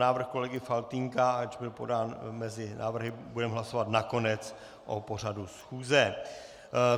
Návrh kolegy Faltýnka, ač byl podán mezi návrhy, budeme hlasovat nakonec o pořadu schůze.